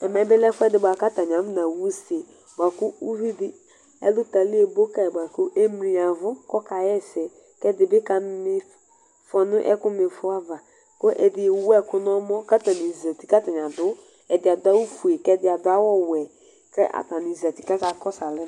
Ɛvɛbi lɛ ɛfʋɛdi bʋakʋbatani afɔnaxa use bʋakʋ ʋvidi ɛlʋ ebo kayi kʋ emli yavʋ kʋ ɔkaxa ɛsɛ kʋ ɛdibi kzma ifɔ nʋ ɛkʋ ma ifɔava kʋ ɛdi ewu ɛkʋ nʋ ɔmɔ kʋ azeti ɛdi adʋ awʋfue kʋ ɛdi adʋ awʋ ɔwɛ kʋ atani zati kʋ akakɔsʋ alɛ